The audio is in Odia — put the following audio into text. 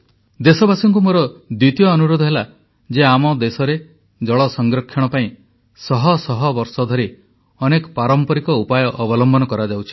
ଦେଶବାସୀଙ୍କୁ ମୋର ଦ୍ୱିତୀୟ ଅନୁରୋଧ ହେଲା ଯେ ଆମ ଦେଶରେ ଜଳ ସଂରକ୍ଷଣ ପାଇଁ ଶହ ଶହ ବର୍ଷ ଧରି ଅନେକ ପାରମ୍ପରିକ ଉପାୟ ଅବଲମ୍ବନ କରାଯାଉଛି